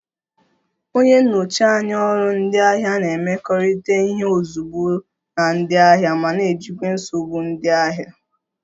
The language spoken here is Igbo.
Onye nnọchi anya ọrụ ndị ahịa na-emekọrịta ihe ozugbo na ndị ahịa ma na-ejikwa nsogbu ndị ahịa